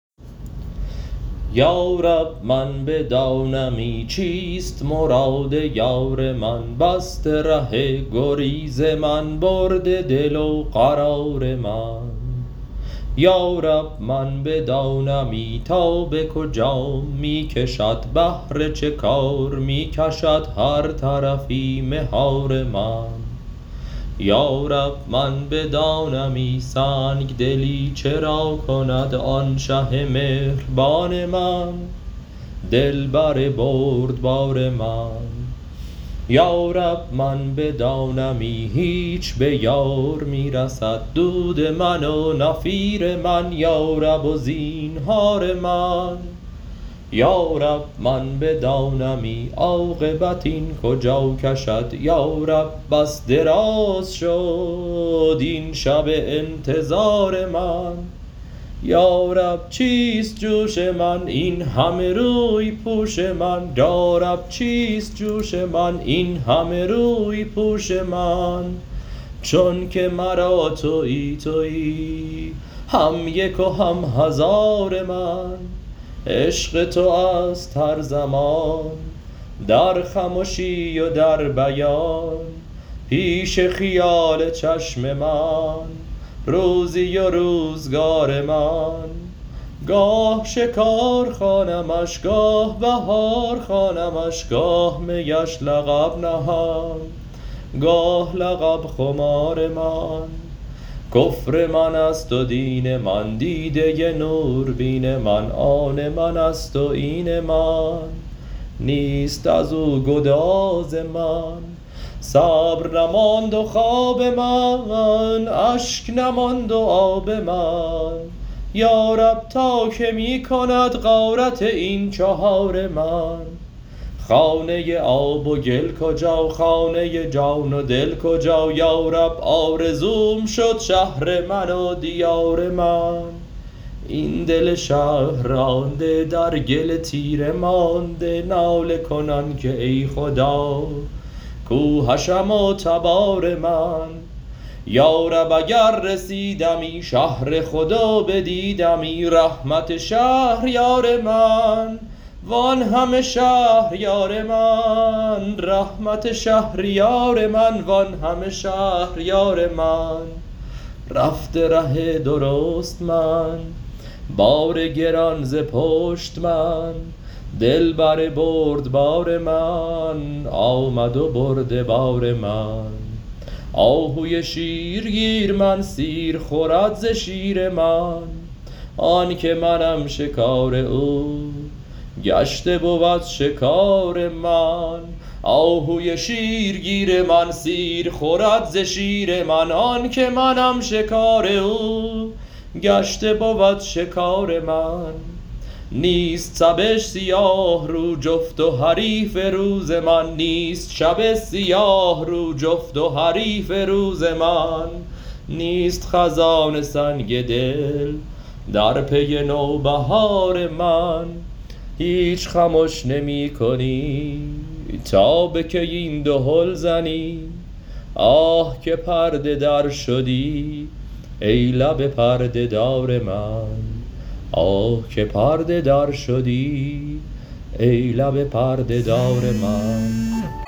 یا رب من بدانمی چیست مراد یار من بسته ره گریز من برده دل و قرار من یا رب من بدانمی تا به کجام می کشد بهر چه کار می کشد هر طرفی مهار من یا رب من بدانمی سنگ دلی چرا کند آن شه مهربان من دلبر بردبار من یا رب من بدانمی هیچ به یار می رسد دود من و نفیر من یارب و زینهار من یا رب من بدانمی عاقبت این کجا کشد یا رب بس دراز شد این شب انتظار من یا رب چیست جوش من این همه روی پوش من چونک مرا توی توی هم یک و هم هزار من عشق تو است هر زمان در خمشی و در بیان پیش خیال چشم من روزی و روزگار من گاه شکار خوانمش گاه بهار خوانمش گاه میش لقب نهم گاه لقب خمار من کفر من است و دین من دیده نوربین من آن من است و این من نیست از او گذار من صبر نماند و خواب من اشک نماند و آب من یا رب تا کی می کند غارت هر چهار من خانه آب و گل کجا خانه جان و دل کجا یا رب آرزوم شد شهر من و دیار من این دل شهر رانده در گل تیره مانده ناله کنان که ای خدا کو حشم و تبار من یا رب اگر رسیدمی شهر خود و بدیدمی رحمت شهریار من وان همه شهر یار من رفته ره درشت من بار گران ز پشت من دلبر بردبار من آمده برده بار من آهوی شیرگیر من سیر خورد ز شیر من آن که منم شکار او گشته بود شکار من نیست شب سیاه رو جفت و حریف روز من نیست خزان سنگ دل در پی نوبهار من هیچ خمش نمی کنی تا به کی این دهل زنی آه که پرده در شدی ای لب پرده دار من